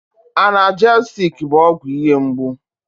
Analjesik bụ ọgwụ ihe mgbu.